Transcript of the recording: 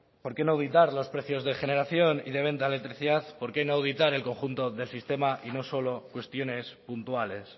por qué no auditar los precios de generación y de venta de electricidad por qué no auditar el conjunto del sistema y no solo cuestiones puntuales